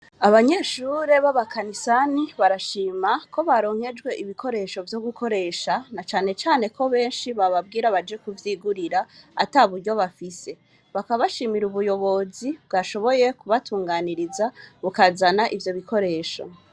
Abanyeshure b'abakanisani barashima ko baronkejwe ibikoresho vyo gukoresha na canecane ko benshi bababwira baje kuvyigurira ata buryo bafise bakabashimira ubuyobozi bwashoboye kubatunganiriza bukazana ivyo bikoresho.